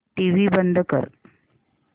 TV बंद कर